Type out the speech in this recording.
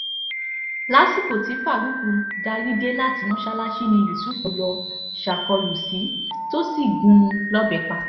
lásìkò tí farouk darí dé láti mọ́sálásí ni yusuf lọ́ọ́ ṣàkólú sí i tó sì gún un lọ́bẹ̀ pa